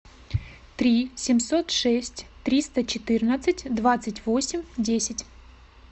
три семьсот шесть триста четырнадцать двадцать восемь десять